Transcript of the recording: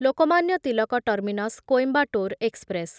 Lokmanya Tilak terminus Coimbatore express